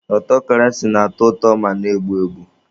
Ọtọkrasi na-atọ ụtọ ma na-egbu egbu.